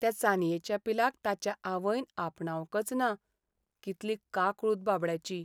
त्या चानयेचे पिलाक ताच्या आवयन आपणावंकच ना. कितली काकूळट बाबड्याची.